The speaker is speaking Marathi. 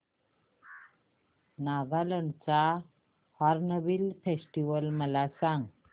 नागालँड चा हॉर्नबिल फेस्टिवल मला सांग